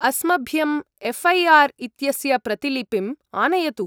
अस्मभ्यम् एफ्.ऐ.आर्. इत्यस्य प्रतिलिपिम् आनयतु।